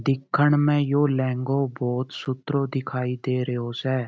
दिखण म यो लहंगों बहुत सुथरो दिखाई दे रो स।